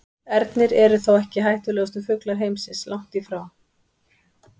Ernir eru þó ekki hættulegustu fuglar heimsins, langt í frá.